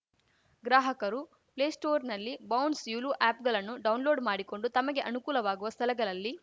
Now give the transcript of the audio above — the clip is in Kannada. ಗ್ರಾಹಕರು ಪ್ಲೇಸ್ಟೋರ್‌ನಲ್ಲಿ ಬೌನ್ಸ್‌ ಯುಲು ಆ್ಯಪ್‌ಗಳನ್ನು ಡೌನ್‌ಲೋಡ್‌ ಮಾಡಿಕೊಂಡು ತಮಗೆ ಅನುಕೂಲವಾಗುವ ಸ್ಥಳಗಳಲ್ಲಿ